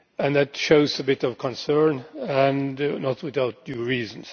That shows a bit of concern, and not without due reason.